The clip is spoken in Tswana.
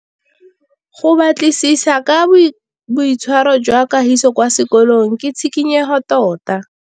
Go batlisisa ka boitshwaro jwa Kagiso kwa sekolong ke tshikinyêgô tota.